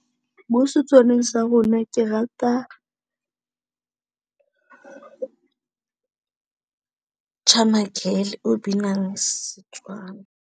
Ml setsong sa rona ke rata Charmer girl o binang setswana.